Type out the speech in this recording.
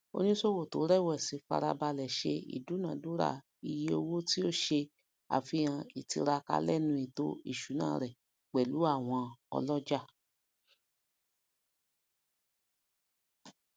onisowo to rẹwẹsi farabàlẹ se idunadura iye owó ti o se àfihàn ìtiraka lẹnu ètò ìṣúná rẹ pẹlú àwọn olójà